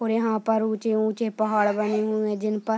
और यहां पर ऊंचे-ऊंचे पहाड़ बने हुए जिनप --